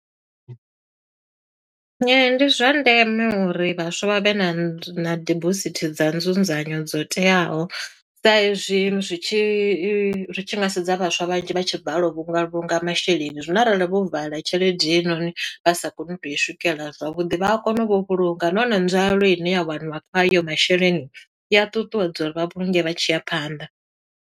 Ndi zwa ndeme uri vhaswa vha vhe na nzu na dibosithi dza nzunzanyo dzo teaho. Sa hezwi zwi tshi ri tshi nga sedza vhaswa vhanzhi vha tshi balelwa u vhunga vhulunga masheleni. Zwino arali vho vala tshelede heyinoni, vha sa koni u tou i swikelela zwavhuḓi, vha a kona vho u vhulunga. Nahone nzwalelo ine ya waniwa kha hayo masheleni, i ya ṱuṱuwedza uri vha vhulunge vha tshiya phanḓa.